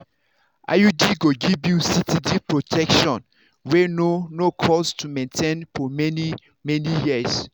iud go give you steady protection wey no no cost to maintain for many-many years.